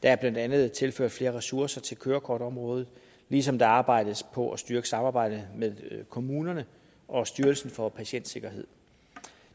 er blandt andet tilført flere ressourcer til kørekortområdet ligesom der arbejdes på at styrke samarbejdet med kommunerne og styrelsen for patientsikkerhed